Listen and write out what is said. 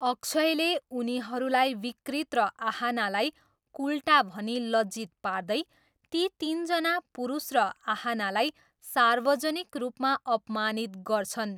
अक्षयले उनीहरूलाई विकृत र आहानालाई कुलटा भनी लज्जित पार्दै ती तिनजना पुरुष र आहानालाई सार्वजनिक रूपमा अपमानित गर्छन्।